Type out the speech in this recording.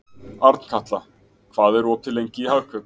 Arnkatla, hvað er opið lengi í Hagkaup?